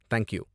Thank you.